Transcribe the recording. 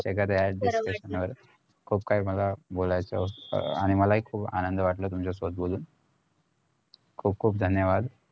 एखाद्दी दिसणार खूप काही मला बोलायचं होत आणि मला हि खुप आनंद वाटलं तुमच्यासोबत बोलून खुप खुप धन्यवाद